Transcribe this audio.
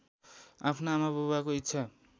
आफ्ना आमाबाबुको इच्छा